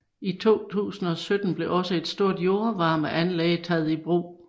I 2017 blev også et stort jordvarmeanlæg taget i brug